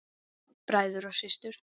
Bræður og systur!